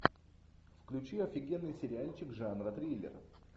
включи офигенный сериальчик жанра триллер